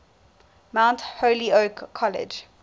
mount holyoke college